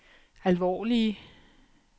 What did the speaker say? alvorlige